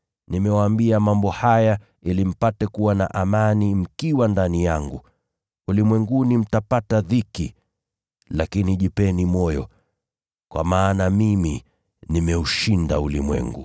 Nimewaambia mambo haya, ili mpate kuwa na amani mkiwa ndani yangu. Ulimwenguni mtapata dhiki. Lakini jipeni moyo, kwa maana mimi nimeushinda ulimwengu.”